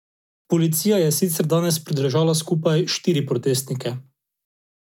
Policija je sicer danes pridržala skupaj štiri protestnike.